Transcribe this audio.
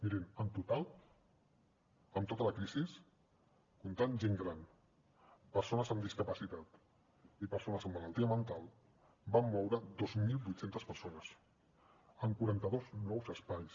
mirin en total amb tota la crisi comptant gent gran persones amb discapacitat i persones amb malaltia mental vam moure dos mil vuit cents persones en quaranta dos nous espais